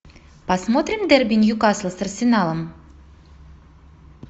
посмотрим дерби ньюкасл с арсеналом